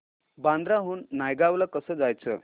बांद्रा हून नायगाव ला कसं जायचं